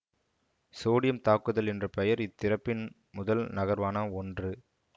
sodium தாக்குதல் என்ற பெயர் இத்திறப்பின் முதல் நகர்வான ஒன்று